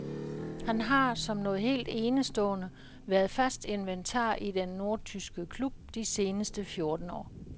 Han har, som noget helt enestående, været fast inventar i den nordtyske klub de seneste fjorten år.